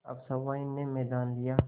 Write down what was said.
अब सहुआइन ने मैदान लिया